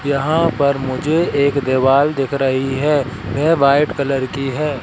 यहां पर मुझे एक दीवाल दिख रही है यह वाइट कलर की है।